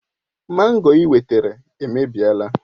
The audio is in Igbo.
Mango ị wetara èmèbịèlà